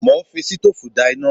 Mo ń fi sitóòfù dá iná